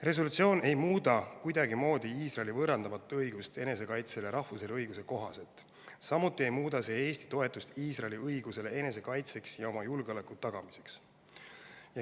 Resolutsioon ei muuda kuidagimoodi Iisraeli võõrandamatut õigust enesekaitsele rahvusvahelise õiguse kohaselt, samuti ei muuda see Eesti toetust Iisraeli õigusele enesekaitseks ja oma julgeoleku tagamiseks.